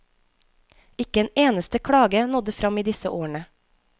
Ikke en eneste klage nådde frem i disse årene.